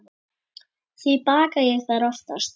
Því baka ég þær oftast.